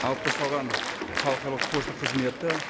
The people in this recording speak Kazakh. алып тасталған халықаралық пошта қызметі